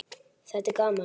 Þetta er gaman.